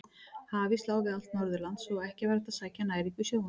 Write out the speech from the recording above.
Hafís lá við allt Norðurland svo að ekki var hægt að sækja næringu í sjóinn.